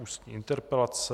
Ústní interpelace